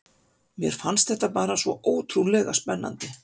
Mér fannst þetta bara svo ótrúlega spennandi.